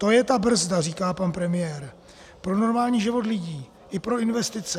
To je ta brzda," říká pan premiér, "pro normální život lidí i pro investice.